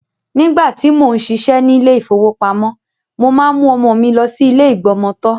Nígbàtí, mò ń ṣiṣẹ́ ní ilé ìfowópamọ́, mo máa ń mú ọmọ mi lọ sí ilé ìgbọmọtọ́.